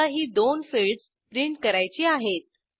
समजा ही दोन फिल्डस प्रिंट करायची आहेत